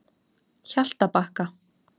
Hjaltabakka